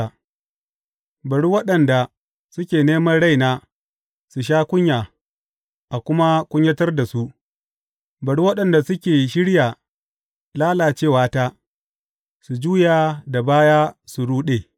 Bari waɗanda suke neman raina su sha kunya a kuma kunyatar da su; bari waɗanda suke shirya lalacewata su juya da baya su ruɗe.